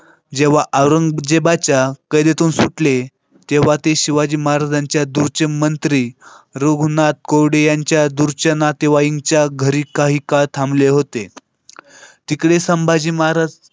जेव्हा औरंगजेबाच्या कडीतून सुटले तेव्हा ते शिवाजी महाराजांच्या दूरचे मंत्री रघुनाथ कोडी यांच्या दूरच्या नातेवाईकांच्या घरी काही काळ थांबले होते. तिकडे संभाजी महाराज.